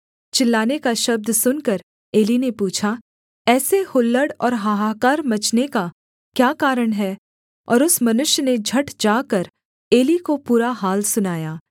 चिल्लाने का शब्द सुनकर एली ने पूछा ऐसे हुल्लड़ और हाहाकार मचने का क्या कारण है और उस मनुष्य ने झट जाकर एली को पूरा हाल सुनाया